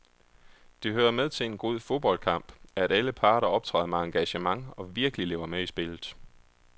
Det hører med til en god fodboldkamp, at alle parter optræder med engagement og virkelig lever med i spillet.